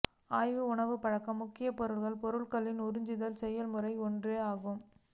ஆய்வு உணவுப்பழக்க முக்கிய பொருள் பொருட்களில் உறிஞ்சுதல் செயல்முறை ஒன்றே ஆகும்